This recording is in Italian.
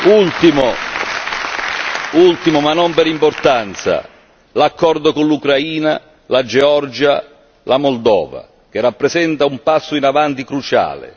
Ultimo, ma non per importanza, l'accordo con l'Ucraina, la Georgia, la Moldova, che rappresenta un passo avanti cruciale.